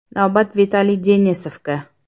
Navbat Vitaliy Denisovga.